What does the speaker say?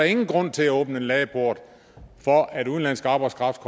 ingen grund til at åbne en ladeport for at udenlandsk arbejdskraft